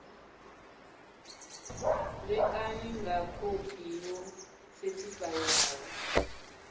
ṋekane nga khophi yo sethifaiwaho